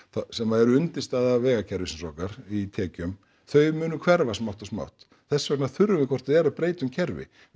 sem eru undirstaða vegakerfisins okkar í tekjum þau munu hverfa smátt og smátt þess vegna þurfum við hvort eð er að breyta um kerfi við